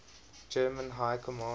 german high command